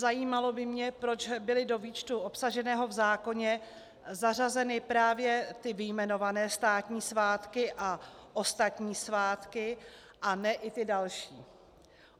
Zajímalo by mě, proč byly do výčtu obsaženého v zákoně zařazeny právě ty vyjmenované státní svátky a ostatní svátky a ne i ty další.